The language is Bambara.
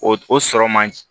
O o sɔrɔ man di